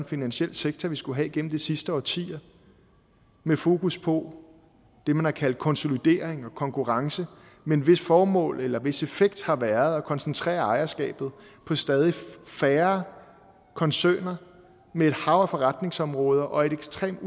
finansiel sektor vi skulle have igennem de sidste årtier med fokus på det man har kaldt konsolidering og konkurrence men hvis formål eller hvis effekt har været at koncentrere ejerskabet på stadig færre koncerner med et hav af forretningsområder og ekstremt